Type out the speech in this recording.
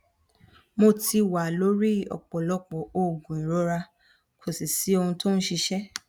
mo ti wà lórí ọpọlọpọ oògùn ìrora kò sì sí ohun tí ó ń ṣiṣẹ